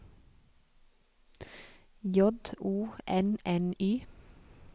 J O N N Y